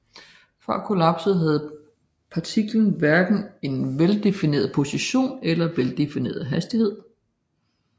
Før kollapset har partiklen hverken en veldefineret position eller veldefineret hastighed